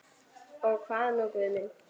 Og hvað nú Guð minn?